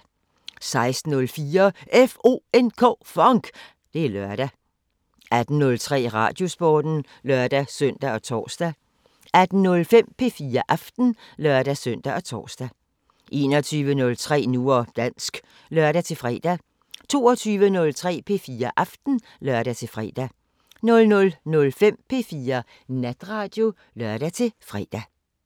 16:04: FONK! Det er lørdag 18:03: Radiosporten (lør-søn og tor) 18:05: P4 Aften (lør-søn og tor) 21:03: Nu og dansk (lør-fre) 22:03: P4 Aften (lør-fre) 00:05: P4 Natradio (lør-fre)